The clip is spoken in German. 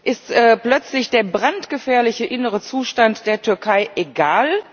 Ist plötzlich der brandgefährliche innere Zustand der Türkei egal?